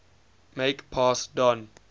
make pass don